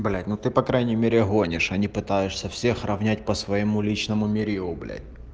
блять ну ты по крайней мере гонишь а не пытаешься всех равнять по своему личному мерилу блять